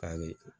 Kari